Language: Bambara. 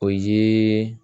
O ye